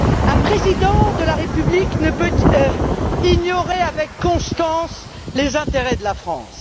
Un président de la République ne peut ignorer avec constance les intérêts de la France.